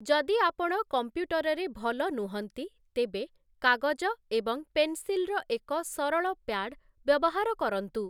ଯଦି ଆପଣ କମ୍ପ୍ୟୁଟରରେ ଭଲ ନୁହଁନ୍ତି ତେବେ କାଗଜ ଏବଂ ପେନସିଲର ଏକ ସରଳ ପ୍ୟାଡ୍ ବ୍ୟବହାର କରନ୍ତୁ ।